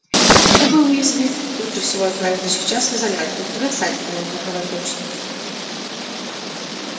тебе бы уизли лучше всего отправиться сейчас в изолятор у тебя ссадина на лбу кровоточит